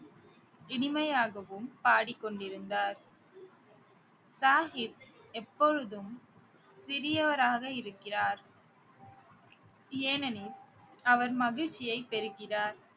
இனிமையாகவும் பாடிக் கொண்டிருந்தார் சாகிப் எப்பொழுதும் சிறியவராக இருக்கிறார் ஏனெனில் அவர் மகிழ்ச்சியை பெறுகிறார்